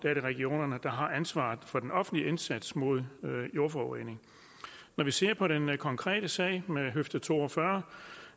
er det regionerne der har ansvaret for den offentlige indsats mod jordforurening når vi ser på den konkrete sag med høfde to og fyrre